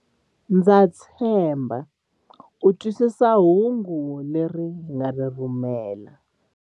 Ndza tshemba u twisisa hungu leri hi nga ri rhumela.